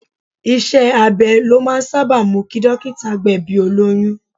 Iṣẹ́ abẹ ló máa ń sábà mú kí dókítà gbẹ̀bi olóyún.